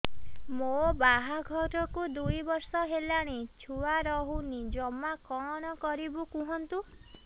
ମୋ ବାହାଘରକୁ ଦୁଇ ବର୍ଷ ହେଲାଣି ଛୁଆ ରହୁନି ଜମା କଣ କରିବୁ କୁହନ୍ତୁ